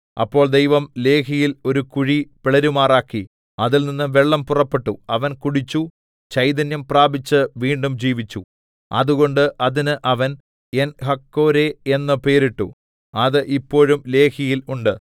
അപ്പോൾ ദൈവം ലേഹിയിൽ ഒരു കുഴി പിളരുമാറാക്കി അതിൽനിന്ന് വെള്ളം പുറപ്പെട്ടു അവൻ കുടിച്ചു ചൈതന്യം പ്രാപിച്ച് വീണ്ടും ജീവിച്ചു അതുകൊണ്ട് അതിന് അവൻ ഏൻഹക്കോരേ എന്ന് പേരിട്ടു അത് ഇപ്പോഴും ലേഹിയിൽ ഉണ്ട്